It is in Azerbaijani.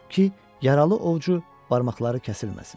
Ki, yaralı ovucu barmaqları kəsilməsin.